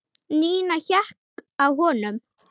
Nína hékk á honum.